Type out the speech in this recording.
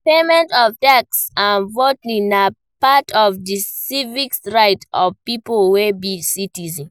Payment of tax and voting na part of di civic rights of pipo wey be citizens